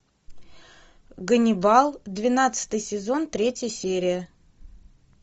ганнибал двенадцатый сезон третья серия